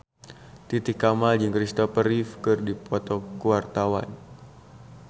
Titi Kamal jeung Kristopher Reeve keur dipoto ku wartawan